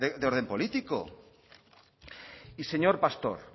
de orden político y señor pastor